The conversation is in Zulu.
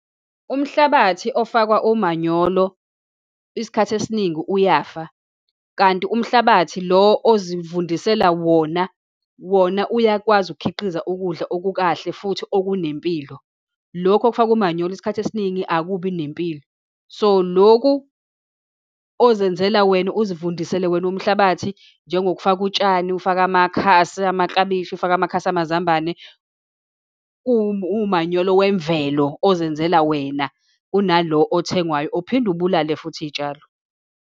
Umhlabathi ofakwa umanyolo, isikhathi esiningi uyafa, kanti umhlabathi lo ozivundisela wona, wona uyakwazi ukukhiqiza ukudla okukahle, futhi okunempilo, lokhu okufakwa umanyolo, isikhathi esiningi akubi nempilo. So, lokhu ozenzela wena uzivundisele wena umhlabathi, njengokufaka utshani, ufaka amakhasi amaklabishi, ufake amakhasi amazambane, uwumanyolo wemvelo, ozenzela wena kunalo othengwayo, ophinde ubulale futhi iy'tshalo.